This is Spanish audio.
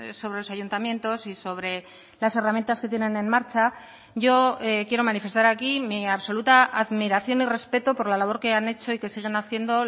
sobre los ayuntamientos y sobre las herramientas que tienen en marcha yo quiero manifestar aquí mi absoluta admiración y respeto por la labor que han hecho y que siguen haciendo